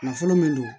Nafolo min don